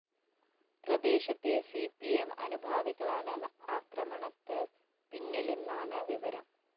പ്രദേശത്തെ C P M അനുഭാവികളാണ് ആക്രമണത്ത് പിന്നിലെന്നാണ് വിവരം